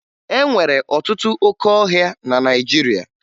E nwere ọtụtụ óké ọhịa na Naịjirịa